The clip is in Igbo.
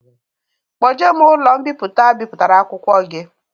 Kpoje m n'ụlọ mbipụta bipụtara akwụkwọ gi